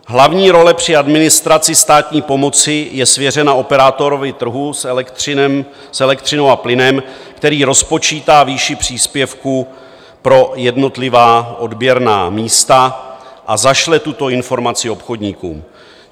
Hlavní role při administraci státní pomoci je svěřena operátorovi trhu s elektřinou a plynem, který rozpočítá výši příspěvku pro jednotlivá odběrná místa a zašle tuto informaci obchodníkům.